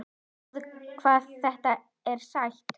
Sjáðu hvað þetta er sætt?